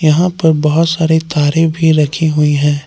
यहां पर बहुत सारे तारे भी रखी हुई हैं।